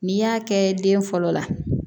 N'i y'a kɛ den fɔlɔ la